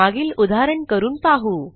मागील उदाहरण करून पाहू